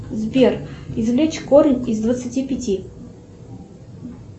сбер извлечь корень из двадцати пяти